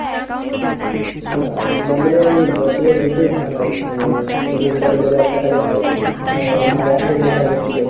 না না আমাদের ওই বছরের দু'টোই ধান হয় তো তুমি যেটা বললে বর্ষাকালে হয়, আর এখন যেটা হচ্ছে,